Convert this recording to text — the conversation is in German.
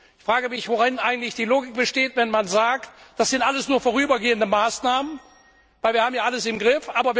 Ich frage mich, worin eigentlich die Logik besteht, wenn man sagt Das sind alles nur vorübergehende Maßnahmen, weil wir haben ja alles im Griff.